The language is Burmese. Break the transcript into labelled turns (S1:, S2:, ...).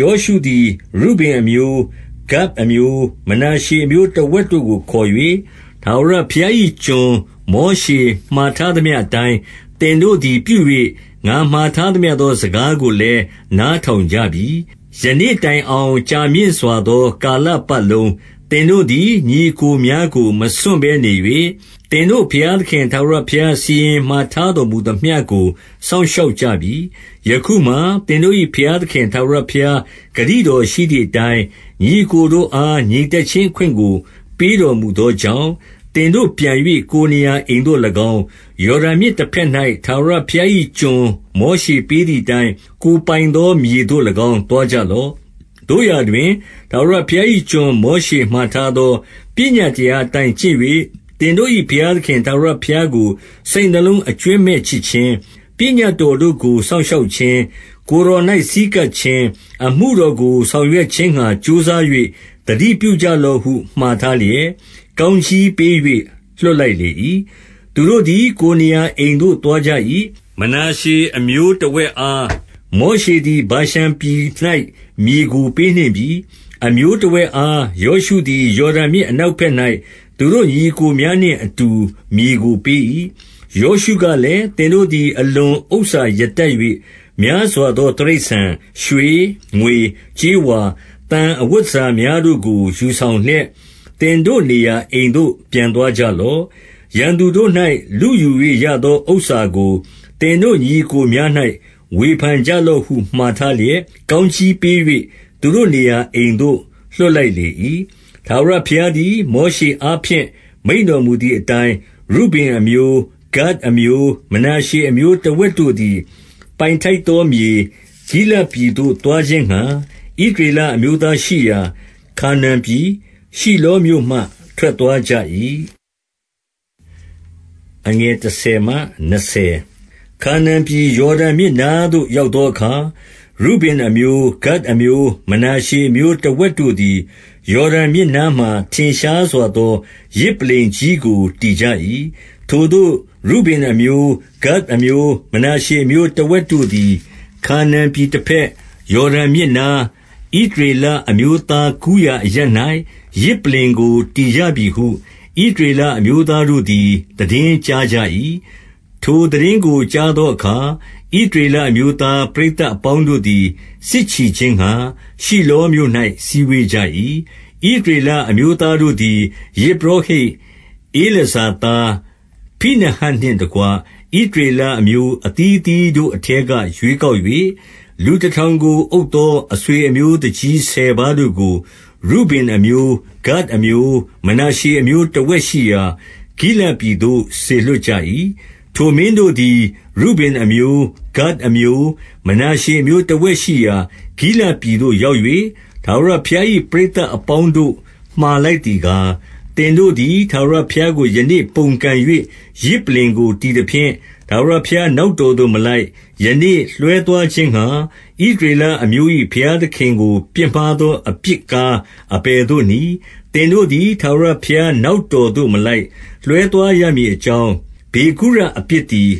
S1: ယောရှုသည် ရုဗင်အမျိုး၊ ဂဒ်အမျိုး၊ မနာရှေအမျိုးတဝက်တို့ကို ခေါ်၍၊ 2 ထာဝရဘုရား၏ကျွန် မောရှေမှာထားသမျှ အတိုင်း၊ သင်တို့သည် ပြု၍၊ ငါမှာထားသမျှသော စကား ကိုလည်း နားထောင်ကြပြီ။ 3 ယနေ့တိုင်အောင် ကြာမြင့်စွာသောကာလပတ် လုံး သင်တို့သည် ညီအစ်ကိုများကို မစွန့်ဘဲနေ၍၊ သင်တို့ ဘုရားသခင် ထာဝရဘုရား စီရင်မှာထားတော်မူသမျှကို စောင့်ရှောက်ကြပြီ။ 4 ယခုမှာ သင်တို့၏ဘုရားသခင် ထာဝရဘုရား ဂတိတော်ရှိသည်အတိုင်း၊ ညီအစ်ကိုတို့အား ငြိမ်သက် ခြင်းအခွင့်ကို ပေးတော်မူသောကြောင့်၊ သင်တို့ပြန်၍ ကိုယ်နေရာအိမ်သို့၎င်း၊ ယော်ဒန်မြစ်တဘက်၌ ထာဝရ ဘုရား၏ကျွန် မောရှေပေးသည်အတိုင်း၊ ကိုယ်ပိုင်သော မြေသို့၎င်း သွားကြလော့။ 5 သို့ရာတွင် ထာဝရဘုရား၏ကျွန် မောရှေမှာ ထားသော ပညတ်တရားအတိုင်း ကျင့်၍၊ သင်တို့၏ ဘုရားသခင် ထာဝရဘုရားကို စိတ်နှလုံးအကြွင်းမဲ့ချစ် ခြင်း၊ လမ်းတော်အလုံးစုံတို့၌ လိုက်သွားခြင်း၊ ပညတ် တော်တို့ကို စောင့်ရှောက်ခြင်း၊ ကိုယ်တော်၌ ဆည်းကပ် ခြင်း၊ အမှုတော်ကို ဆောင်ရွက်ခြင်းငှါ ကြိုးစား၍ သတိပြု ကြလော့ဟု မှာထားလျက်၊ 6 ကောင်းကြီးပေး၍ လွှတ်လိုက်လေ၏။ သူတို့ သည် ကိုယ်နေရာအိမ်သို့ သွားကြ၏။ 7 မနာရှေအမျိုးတဝက်အား မောရှေသည် ဗာရှန် ပြည်၌ မြေကိုပေးနှင့်ပြီ။ အမျိုးတဝက်အား ယောရှုသည် ယော်ဒန်မြစ်အနောက်ဘက်၌ သူတို့ညီအစ်ကိုများနှင့် အတူ မြေကို ပေး၏။ 8 ယောရှုကလည်း၊ သင်တို့သည် အလွန်ဥစ္စာရ တတ်၍ များစွာသော တိရစ္ဆာန်၊ ရွှေ၊ ငွေ၊ ကြေးဝါ၊ သံ၊ အဝတ်တန်ဆာများတို့ကို ယူဆောင်လျက် သင်တို့နေရာ အိမ်သို့ ပြန်သွားကြလော့။ ရန်သူတို့၌ လုယူ၍ရသော ဥစ္စာကို သင်တို့ညီအစ်ကိုများ၌ ဝေဖန်ကြလော့ဟု မှာ ထားလျက်၊ ကောင်းကြီးပေး၍ သူတို့နေရာအိမ်သို့ လွှတ် လိုက်လေ၏။ 9 ထာဝရဘုရားသည် မောရှေအားဖြင့် မိန့်တော်မူ သည်အတိုင်း၊ ရုဗင်အမျိုး၊ ဂဒ်အမျိုး၊ မနာရှေအမျိုး တဝက်တို့သည် ပိုင်ထိုက်သောမြေ၊ ဂိလဒ်ပြည်သို့ သွား ခြင်းငှါ၊ ဣသရေလအမျိုးသားရှိရာ ခါနာန်ပြည်၊ ရှိလော မြို့မှ ထွက်သွားကြ၏။ 10 ခါနာန်ပြည်၊ ယော်ဒန်မြစ်နားသို့ ရောက်သော အခါ၊ ရုဗင်အမျိုး၊ ဂဒ်အမျိုး၊ မနာရှေအမျိုးတဝက်တို့ သည် ယော်ဒန်မြစ်နားမှာ ထင်ရှားစွာသော ယဇ်ပလ္လင် ကြီးကို တည်ကြ၏။ 11 ထိုသို့ ရုဗင်အမျိုး၊ ဂဒ်အမျိုး၊ မနာရှေအမျိုး တဝက်တို့သည် ခါနာန်ပြည်တဘက်၊ ယော်ဒန်မြစ်နား၊ ဣသရေလအမျိုးသားကူးရာအရပ်၌ ယဇ်ပလ္လင်ကို တည် ကြပြီဟု ဣသရေလအမျိုးသားတို့သည် သိတင်းကြားကြ ၏။ 12 ထိုသိတင်းကို ကြားသောအခါ၊ ဣသရေလ အမျိုးသား ပရိသတ်အပေါင်းတို့သည် စစ်ချီခြင်းငှါ၊ ရှိလောမြို့၌ စည်းဝေးကြ၏။ 13 ဣသရေလအမျိုးသားတို့သည်၊ 14 ယဇ်ပုရောဟိတ်ဧလာဇာသား ဖိနဟတ်နှင့် တကွ၊ ဣသရေလအမျိုး အသီးအသီးတို့အထဲက ရွေး ကောက်၍၊ လူတထောင်ကို အုပ်သော အဆွေအမျိုး သူကြီးဆယ်ပါးတို့ကို ရုဗင်အမျိုး၊ ဂဒ်အမျိုး၊ မနာရှေအမျိုး တဝက်ရှိရာ ဂိလဒ်ပြည်သို့ စေလွှတ်ကြ၏။ 15 ထိုမင်းတို့သည် ရုဗင်အမျိုး၊ ဂဒ်အမျိုး၊ မနာရှေ အမျိုးတဝက်ရှိရာ ဂိလဒ်ပြည်သို့ရောက်၍၊ 16 ထာဝရဘုရား၏ ပရိသတ်အပေါင်းတို့ မှာလိုက် သည်ကား၊ သင်တို့သည် ထာဝရဘုရားကို ယနေ့ပုန်ကန် ၍ ယဇ်ပလ္လင်ကို တည်သဖြင့်၊ ထာဝရဘုရားနောက်တော် သို့ မလိုက်၊ ယနေ့ လွှဲသွားခြင်းငှါ ဣသရေလအမျိုး၏ ဘုရားသခင်ကို ပြစ်မှားသောအပြစ်ကား အဘယ်သို့နည်း။ 17 သင်တို့သည် ထာဝရဘုရားနောက်တော်သို့ မလိုက် လွှဲသွားရမည်အကြောင်း၊ ပေဂုရအပြစ်သည်